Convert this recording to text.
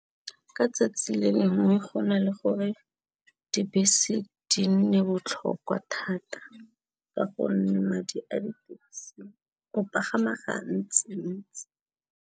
Ka 'tsatsi le lengwe go na le gore dibese di nne botlhokwa thata, ka gonne madi a di taxi o pagama ga ntsi-ntsi.